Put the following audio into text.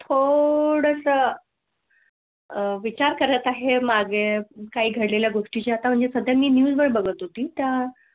थोड सा विचार करत आहे मागे काही घड लेल्या गोष्टी आता म्हणजे सध्या मी न्यूज वर बघत होती त्या.